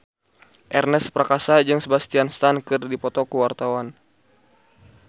Ernest Prakasa jeung Sebastian Stan keur dipoto ku wartawan